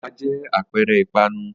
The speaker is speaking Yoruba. Ẹ̀pà jẹ́ àpẹẹrẹ ìpanu.